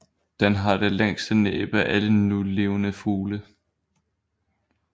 Den har det længste næb af alle nulevende fugle